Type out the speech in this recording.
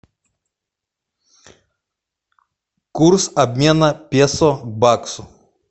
курс обмена песо к баксу